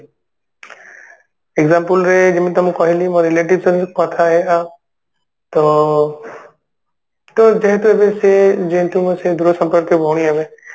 example ରେ ଯେମିତି ତମକୁ କହିଲି ମୋ relative ସବୁ ତ ତ ଯେହେତୁ ଏବେ ସିଏ ଯେହେତୁ ସେ ଦୂର ସମ୍ପର୍କୀୟ ଭଉଣୀ ହେବେ